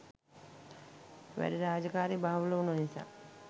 වැඩ රාජකාරී බහුල උන නිසා